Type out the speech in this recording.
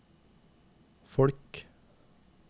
folk